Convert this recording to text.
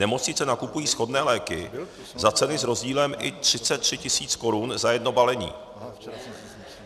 Nemocnice nakupují shodné léky za ceny s rozdílem i 33 tisíc korun za jedno balení.